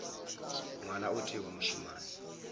ngwana o tee wa mošemane